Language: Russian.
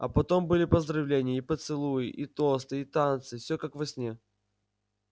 а потом были поздравления и поцелуи и тосты и танцы все как во сне